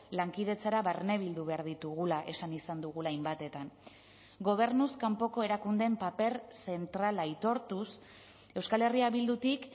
lankidetzara barne bildu behar ditugula esan izan dugula hainbatetan gobernuz kanpoko erakundeen paper zentrala aitortuz euskal herria bildutik